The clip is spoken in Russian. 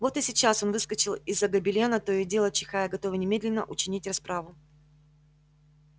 вот и сейчас он выскочил из-за гобелена то и дело чихая готовый немедленно учинить расправу